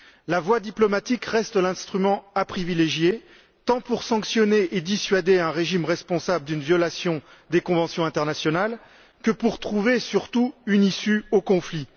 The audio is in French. La voie diplomatique reste l'instrument à privilégier, tant pour sanctionner et dissuader un régime responsable d'une violation des conventions internationales que, surtout, pour trouver une issue au conflit.